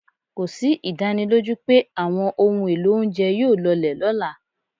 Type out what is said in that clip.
Kò sí ìdánilójú pé àwọn ohun èlò oúnjẹ yóò lọlẹ̀ lọ́la.